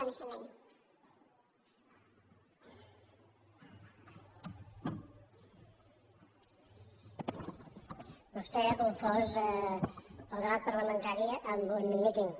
vostè ha confós el debat parlamentari amb un míting